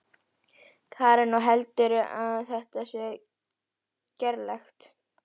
Karen: Og heldurðu að þetta sé gerlegt?